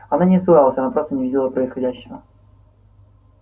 она не испугалась она просто не видела происходящего